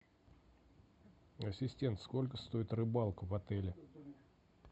ассистент сколько стоит рыбалка в отеле